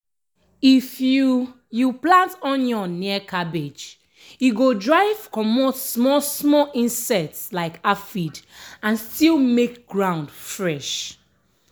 if you you plant onion near cabbage e go drive comot small-small insect like aphid and still make ground fresh.